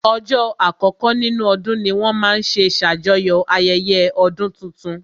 Ọjọ́ àkọkọ́ nínú ọdún ní wọ́n máa n ṣe ṣàjọyọ̀ ayẹyẹ ọdún tuntun